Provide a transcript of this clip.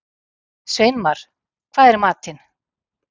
Sveinmar, hvað er í matinn?